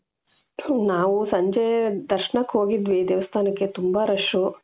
ನಾವು ಸಂಜೆ ದರ್ಶನಕ್ಕೆ ಹೋಗಿದ್ವಿ ದೇವಸ್ಥಾನಕ್ಕೆ ತುಂಬಾ rush